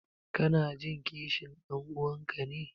Kanajin kishin ɗan'uwanka ne?